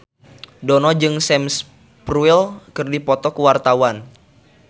Dono jeung Sam Spruell keur dipoto ku wartawan